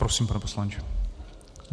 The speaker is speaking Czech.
Prosím, pane poslanče.